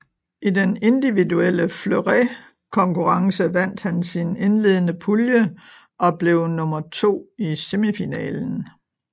I den individuelle fleuretkonkurrence vandt han sin indledende pulje og blev nummer to i semifinalen